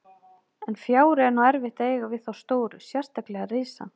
En fjári er nú erfitt að eiga við þá stóru, sérstaklega risann.